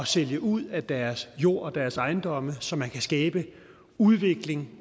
sælge ud af deres jord og deres ejendomme så man kan skabe udvikling